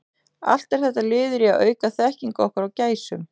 Allt er þetta liður í að auka þekkingu okkar á gæsum.